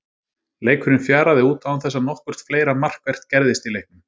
Leikurinn fjaraði út án þess að nokkurt fleira markvert gerðist í leiknum.